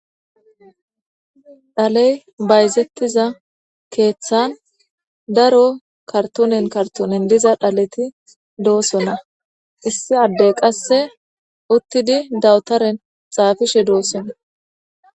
Dhale bayizetida kethan daro karitonyn diza dhaleti do'sona issi adey qase utidi dawutaren xapishe do'sona